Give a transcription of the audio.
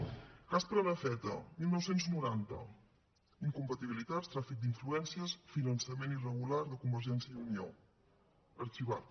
cas prenafeta dinou noranta incompatibilitats tràfic d’influències finançament irregular de convergència i unió arxivat